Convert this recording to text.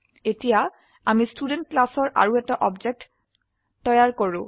এতিয়া আমি ষ্টুডেণ্ট ক্লাসৰ আৰু এটা অবজেক্ট তৈয়াৰ কৰক